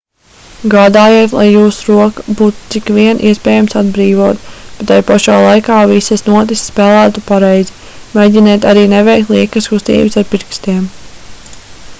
gādājiet lai jūsu roka būtu cik vien iespējams atbrīvota bet tai pašā laikā visas notis spēlētu pareizi mēģiniet arī neveikt liekas kustības ar pirkstiem